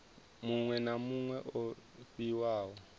muṅwe na muṅwe o fhiwaho